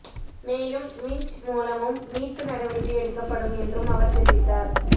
மேலும் விஞ்ச் மூலமும் மீட்பு நடவடிக்கை எடுக்கப்படும் என்றும் அவர் தெரிவித்தார்